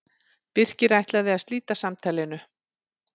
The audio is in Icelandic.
Birkir ætlaði að slíta samtalinu.